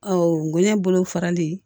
Ɔ bonɲɛ bolofarali